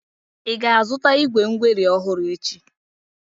Ị ga-azụta igwé ngweri ọhụrụ echi?